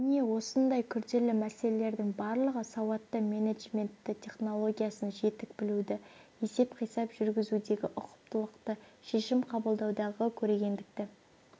міне осындай күрделі мәселелердің барлығы сауатты менеджментті технологиясын жетік білуді есеп-қисап жүргізудегі ұқыптылықты шешім қабылдаудағы көрегендікті